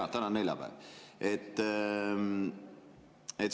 Jaa, täna on neljapäev.